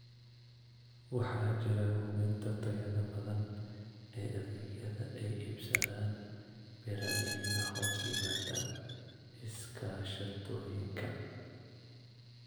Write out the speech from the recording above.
Waxaa jira hubinta tayada badan ee adeegyada ay iibsadaan beeralayda hoos yimaada iskaashatooyinka.